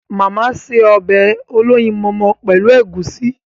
Màmá se ọbẹ̀ olóyinmọmọ pẹ́lu ègúsi..